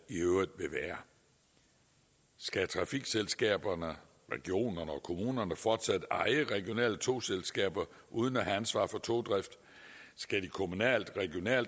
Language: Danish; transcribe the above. i øvrigt vil være skal trafikselskaberne regionerne og kommunerne fortsat eje regionale togselskaber uden at have ansvar for togdrift skal de kommunalt